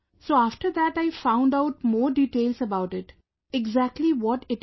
So, after that I found out more details about it...exactly what it is